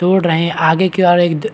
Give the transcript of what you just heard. तोड़ रहै है आगे की ओर एक द--